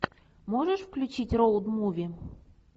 можешь включить роуд муви